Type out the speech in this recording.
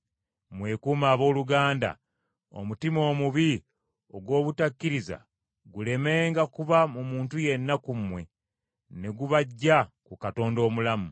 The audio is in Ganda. Mwekuume abooluganda, omutima omubi ogw’obutakkiriza gulemenga kuba mu muntu yenna ku mmwe, ne gubaggya ku Katonda omulamu.